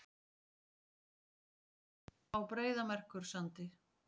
Jökulsárlón á Breiðamerkursandi.